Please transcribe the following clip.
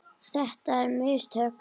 Þetta er minnst sök.